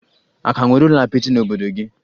A ka nwere ụlọ apịtị n'obodo gị?